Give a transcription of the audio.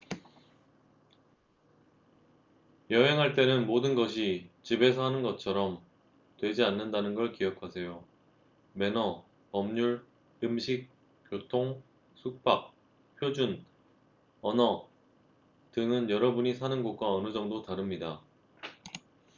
"여행할 때는 모든 것이 "집에서 하는 것처럼" 되지 않는다는 걸 기억하세요. 매너 법률 음식 교통 숙박 표준 언어 등은 여러분이 사는 곳과 어느 정도 다릅니다.